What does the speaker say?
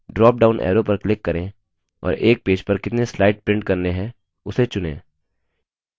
dropdown arrow पर click करें और एक पेज पर कितने स्लाइड print करने हैं उसे चुनें